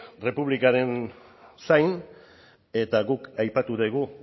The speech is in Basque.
errepublikaren zain eta guk aipatu dugu